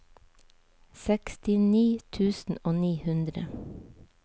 sekstini tusen og ni hundre